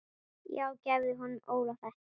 Já gefðu honum Óla þetta.